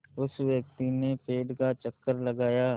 उस व्यक्ति ने पेड़ का चक्कर लगाया